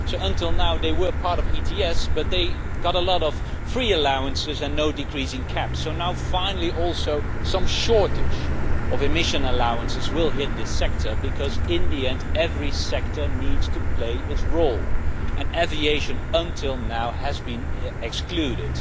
Until now, they were part of ETS but they got a lot of free allowances and no decrease in caps. Finally, some shortage of emission allowances will hit this sector, because in the end every sector needs to play its role. Until now, aviation has been excluded.